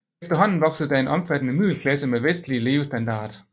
Efterhånden voksede der en omfattende middelklasse med vestlig levestandard